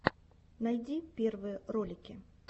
найди первые ролики